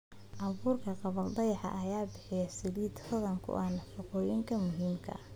Abuurka gabbaldayaha ayaa bixiya saliid hodan ku ah nafaqooyinka muhiimka ah.